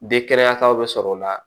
De kɛnɛyataw bɛ sɔrɔ o la